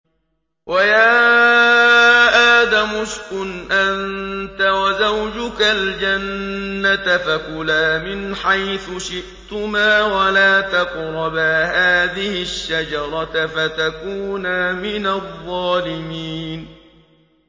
وَيَا آدَمُ اسْكُنْ أَنتَ وَزَوْجُكَ الْجَنَّةَ فَكُلَا مِنْ حَيْثُ شِئْتُمَا وَلَا تَقْرَبَا هَٰذِهِ الشَّجَرَةَ فَتَكُونَا مِنَ الظَّالِمِينَ